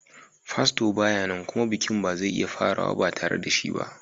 Fasto ba ya nan kuma bikin ba zai iya farawa ba tare da shi ba.